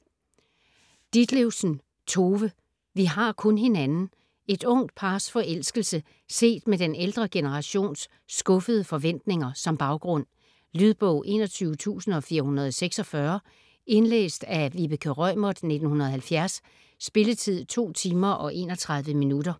Ditlevsen, Tove: Vi har kun hinanden Et ungt pars forelskelse set med den ældre generations skuffede forventninger som baggrund. Lydbog 21446 Indlæst af Vibeke Reumert, 1970. Spilletid: 2 timer, 31 minutter.